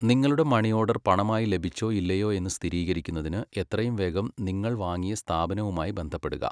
നിങ്ങളുടെ money order പണമായി ലഭിച്ചോ ഇല്ലയോ എന്ന് സ്ഥിരീകരിക്കുന്നതിന് എത്രയും വേഗം നിങ്ങൾ വാങ്ങിയ സ്ഥാപനവുമായി ബന്ധപ്പെടുക.